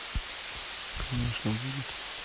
конечно будет